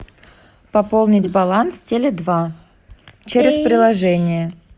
пополнить баланс теле два через приложение